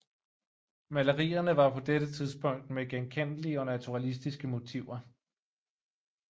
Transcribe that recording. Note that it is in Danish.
Malerierne var på dette tidspunkt med genkendelige og naturalistiske motiver